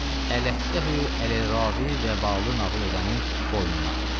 Ələhtəhü ələ rəvi və bağlı nağıl edənin boynuna.